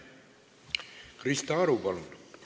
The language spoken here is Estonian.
Krista Aru, palun!